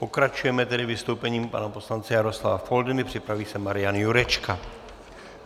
Pokračujeme tedy vystoupením pana poslance Jaroslava Foldyny, připraví se Marian Jurečka.